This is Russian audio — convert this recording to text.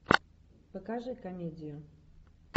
покажи комедию